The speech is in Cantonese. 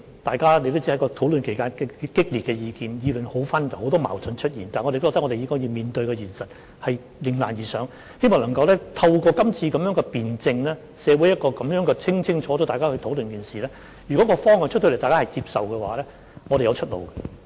大家也知道，在討論期間提出的意見很激烈，意見紛紜，出現很多矛盾，但我認為我們應面對現實，迎難而上，希望能夠透過今次的辯證，在社會上清楚地討論這一件事，如果在公布方向後，大家也接受，我們便會有出路。